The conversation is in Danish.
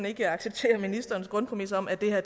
ikke acceptere ministerens grundpræmis om at det her